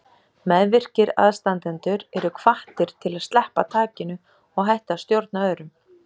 Meðvirkir aðstandendur eru hvattir til að sleppa takinu og hætta að stjórna öðrum.